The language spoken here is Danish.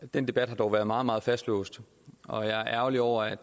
den debat har dog været meget meget fastlåst og jeg er ærgerlig over at